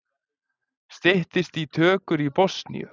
Styttist í tökur í Bosníu